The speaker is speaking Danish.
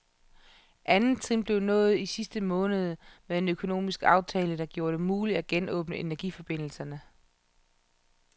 Andet trin blev nået i sidste måned med en økonomisk aftale, der gjorde det muligt at genåbne energiforbindelserne.